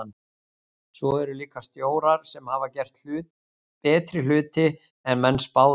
Svo eru líka stjórar sem hafa gert betri hluti en menn spáðu.